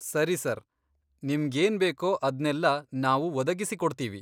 ಸರಿ ಸರ್, ನಿಮ್ಗೇನ್ಬೇಕೋ ಅದ್ನೆಲ್ಲ ನಾವು ಒದಗಿಸಿಕೊಡ್ತೀವಿ.